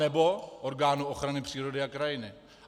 Anebo orgánu ochrany přírody a krajiny.